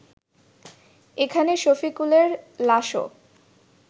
এখানে শফিকুলের লাশও